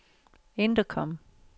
intercom